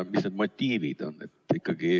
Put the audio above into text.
Mis need motiivid on?